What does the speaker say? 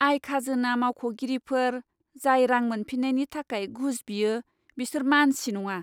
आय खाजोना मावख'गिरिफोर, जाय रां मोनफिन्नायनि थाखाय घुस बियो, बिसोर मानसि नङा!